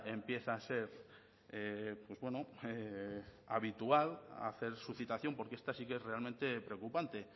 empieza a ser pues bueno habitual hacer su citación porque esta sí que es realmente preocupante